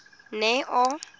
neo